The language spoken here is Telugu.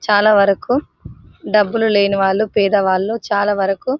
చాలా వరకు డబ్బులు లేని వాళ్ళు పేదవాళ్ళు చాలావరకు--